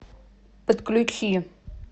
подключи